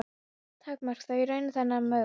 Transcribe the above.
takmarka þó í raun þennan möguleika.